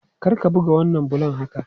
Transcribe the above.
Kar ka buga wannan bulon haka!